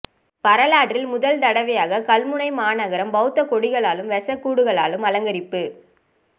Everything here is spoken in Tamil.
வரலாற்றில் முதல் தடவையாக கல்முனை மாநகரம் பௌத்தகொடிகளாலும் வெசாக் கூடுகளாலும் அலங்கரிப்பு